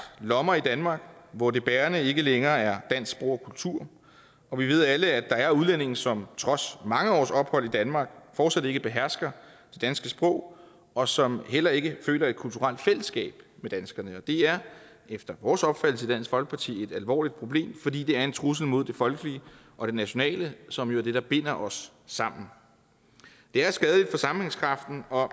lommer i danmark hvor det bærende ikke længere er dansk sprog og kultur og vi ved alle at der er udlændinge som trods mange års ophold i danmark fortsat ikke behersker det danske sprog og som heller ikke føler et kulturelt fællesskab med danskerne og det er efter vores opfattelse i dansk folkeparti et alvorligt problem fordi det er en trussel mod det folkelige og det nationale som jo er det der binder os sammen det er skadeligt for sammenhængskraften og